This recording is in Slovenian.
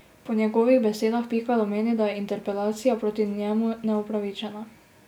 Po njegovih besedah Pikalo meni, da je interpelacija proti njemu neupravičena.